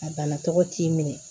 A bana tɔgɔ t'i minɛ